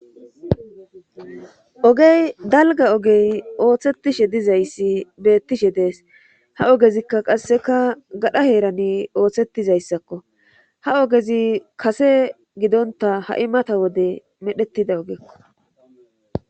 ogey dalgga ogey ooththettishe dizayssi beettishe dees. ha ogezikka qasseka gadha heerani ooththettizayssakko ha ogezi kase gidonta ha'i mata wode medhettida ogekko.